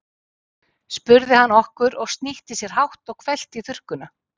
spurði hann okkur og snýtti sér hátt og hvellt í þurrkuna.